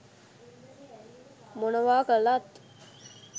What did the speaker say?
මොනවා කළත්